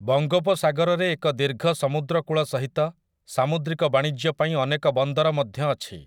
ବଙ୍ଗୋପସାଗରରେ ଏକ ଦୀର୍ଘ ସମୁଦ୍ରକୂଳ ସହିତ ସାମୁଦ୍ରିକ ବାଣିଜ୍ୟ ପାଇଁ ଅନେକ ବନ୍ଦର ମଧ୍ୟ ଅଛି ।